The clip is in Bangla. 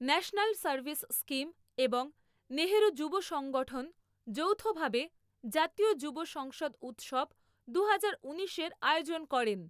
ন্যাশনাল সার্ভিস স্কিম এবং নেহরু যুব সংগঠন য়ৌথভাবে জাতীয় যুব সংসদ উৎসব দুহাজার ঊনিশ এর আয়োজন করেন।